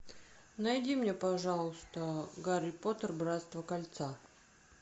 найди мне пожалуйста гарри поттер братство кольца